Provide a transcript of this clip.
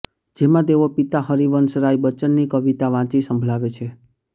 જેમાં તેઓ પિતા હરિવંશ રાય બચ્ચનની કવિતા વાંચી સંભળાવે છે